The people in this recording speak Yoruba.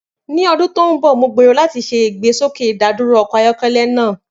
Ni ọdun to nbọ, Mo gbero lati ṣe igbesoke idaduro ọkọ ayọkẹlẹ naa.